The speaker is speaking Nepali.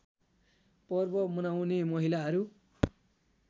पर्व मनाउने महिलाहरू